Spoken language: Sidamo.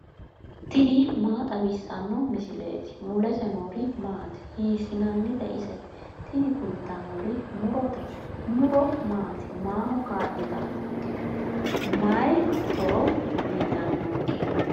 tini maa xawissanno misileeti ? mulese noori maati ? hiissinannite ise ? tini kultannori murote muro maati? maaho kaa'litannonke? mayii horo uyiitannonke?